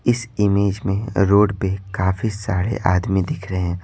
इस इमेज में रोड पे काफी सारे आदमी दिख रहे हैं।